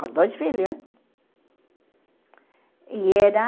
Com dois filhos, hein? E era